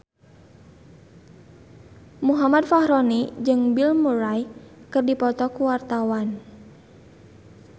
Muhammad Fachroni jeung Bill Murray keur dipoto ku wartawan